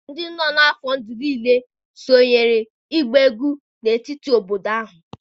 ndị nọ n'afọ ndụ niile sonyeere otu ịgba egwu n'etiti etiti obodo ahụ.